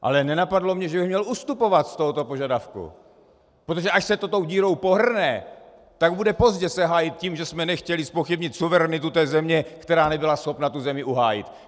Ale nenapadlo mě, že bych měl ustupovat z tohoto požadavku, protože až se to tou dírou pohrne, tak bude pozdě se hájit tím, že jsme nechtěli zpochybnit suverenitu té země, která nebyla schopna tu zemi uhájit.